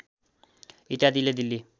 इत्यादिले Delhi